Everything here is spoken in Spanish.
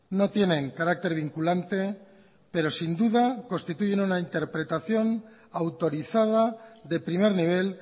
no tienen carácter vinculante pero sin duda constituyen una interpretación autorizada de primer nivel